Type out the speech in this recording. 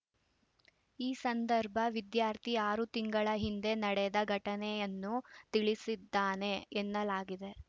ಈ ಸಂದರ್ಭ ವಿದ್ಯಾರ್ಥಿ ಆರು ತಿಂಗಳ ಹಿಂದೆ ನಡೆದ ಘಟನೆಯನ್ನು ತಿಳಿಸಿದ್ದಾನೆ ಎನ್ನಲಾಗಿದೆ